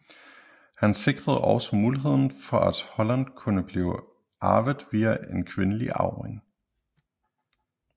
Han sikrede også muligheden for at Holland kunne blive arvet via en kvindelig arving